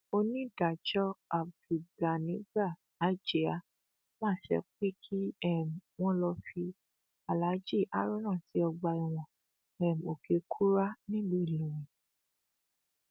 onídàájọ abdulganigba ajiá pàṣẹ pé kí um wọn lọ fi aláàjì haruna sí ọgbà ẹwọn um òkèkúrá nílùú ìlọrin